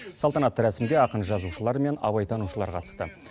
салтанатты рәсімге ақын жазушылар мен абайтанушылар қатысты